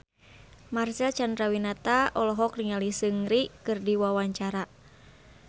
Marcel Chandrawinata olohok ningali Seungri keur diwawancara